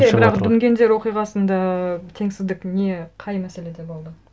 бірақ дүнгендер оқиғасында теңсіздік не қай мәселеде болды